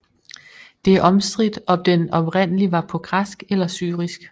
Det er omstridt om den oprindelig var på græsk eller syrisk